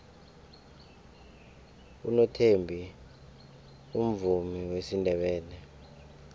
unothembi umvumi wesindebele